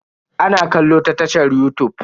Ana kallo a tashar yutub.